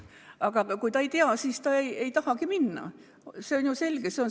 Aga kui ta ei tea, siis ta ei tahagi minna, see on selge.